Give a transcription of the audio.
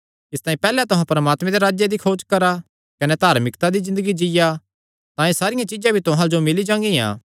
इसतांई पैहल्ले तुहां परमात्मे दे राज्जे दी खोज करा कने धार्मिकता दी ज़िन्दगी जीआ तां एह़ सारियां चीज्जां भी तुहां जो मिल्ली जागियां